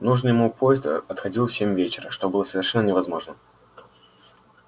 нужный ему поезд отходил в семь вечера что было совершенно невозможно